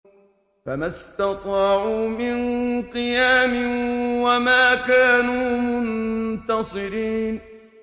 فَمَا اسْتَطَاعُوا مِن قِيَامٍ وَمَا كَانُوا مُنتَصِرِينَ